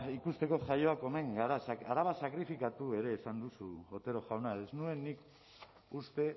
ikusteko jaioak omen gara araba sakrifikatu ere esan duzu otero jauna ez nuen nik uste